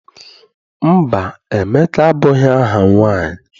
Mba, Emeka abụghị aha nwaanyị.